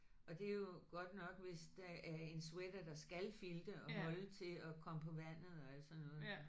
Og det er jo godt nok hvis det er en sweater der skal filte og holde til at komme på vandet og alt sådan noget